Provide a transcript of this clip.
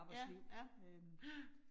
Ja ja ja